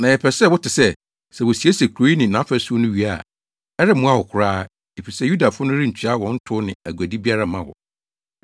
Na yɛpɛ sɛ wote sɛ, sɛ wosiesie kurow yi ne nʼafasu no wie a, ɛremmoa wo koraa, efisɛ Yudafo no rentua wɔn tow ne aguade biara mma wo.